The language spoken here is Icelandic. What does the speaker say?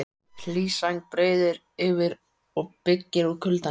Hlý sæng breiðir yfir og byggir út kuldanum.